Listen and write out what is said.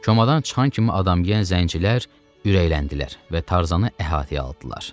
Çomadan çıxan kimi adamyeyən zəncilər ürəkləndilər və Tarzanı əhatəyə aldılar.